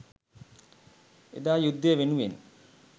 එදා යුද්දය වෙනුවෙන්